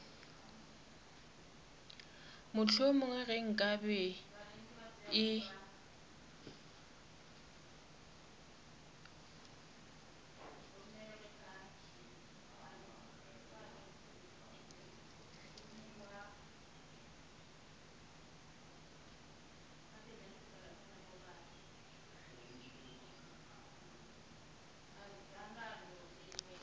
mohlomongwe ge nka be e